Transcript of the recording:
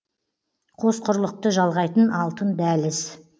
қос құрлықты жалғайтын алтын дәліз